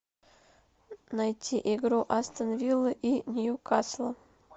найти игру астон виллы и ньюкасла